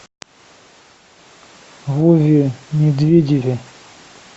вове медведеве